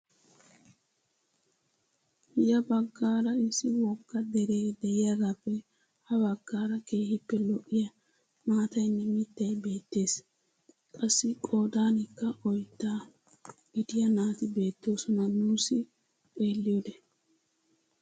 Ya baggaara issi wogga deree de'iyaagappe ha baggaara keehippe lo"iyaa maatayinne mittay beettees. qassi qoodanikka oyddaa gidiyaa naati beettoosona nuusi xeelliyode.